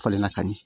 Falenna ka ɲi